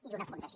i una fundació